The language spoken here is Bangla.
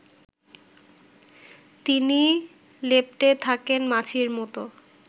তিনি লেপ্টে থাকেন মাছির মতো